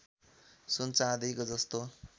सुन चाँदीको जस्तो